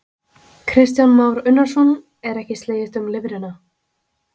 Kristján Már Unnarsson: Er ekki slegist um lifrina?